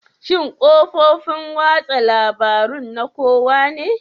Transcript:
Shin kafofin watsa labarun na kowa ne?